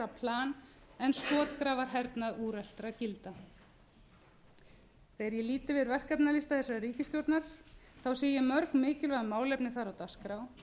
plan en skotgrafahernað úreltra gilda þegar ég lít yfir verkefnalista þessarar ríkisstjórnar sé ég mörg mikilvæg málefni þar á dagskrá